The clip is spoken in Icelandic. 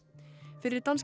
fyrir danska